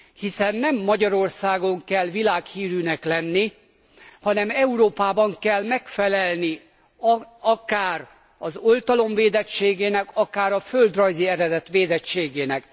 Hiszen nem Magyarországon kell világhírűnek lenni, hanem Európában kell megfelelni akár az oltalom védettségének, akár a földrajzi eredet védettségének.